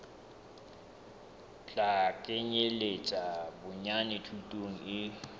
tla kenyeletsa bonyane thuto e